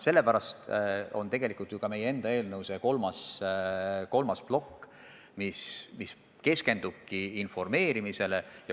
Sellepärast meie enda eelnõu kolmas plokk keskendubki informeerimisele.